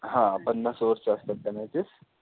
हा पन्नास over च्या असतात त्या matches.